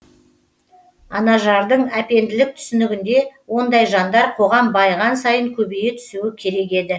анажардың әпенделік түсінігінде ондай жандар қоғам байыған сайын көбейе түсуі керек еді